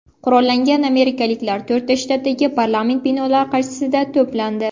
Qurollangan amerikaliklar to‘rtta shtatdagi parlament binolari qarshisida to‘plandi .